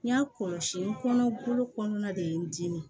N y'a kɔlɔsi n kɔnɔ bolo kɔnɔna de ye n dimi